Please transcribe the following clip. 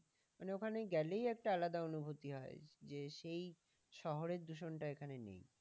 মানে ওখানে গেলেই একটা আলাদা অনুভুতি হয়। যে সেই শহরের দূষণ টা এখানে নেই।